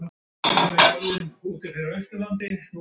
Þannig fann amma hana.